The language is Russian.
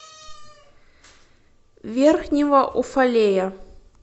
верхнего уфалея